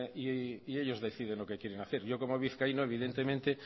y ellos deciden lo que quieren hacer yo como vizcaíno evidentemente